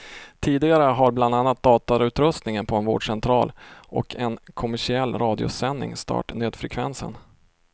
Tidigare har bland annat datautrustningen på en vårdcentral och en kommersiell radiosändning stört nödfrekvensen.